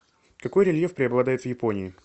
какой рельеф преобладает в японии